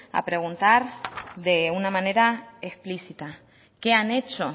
a preguntar de una manera explícita qué han hecho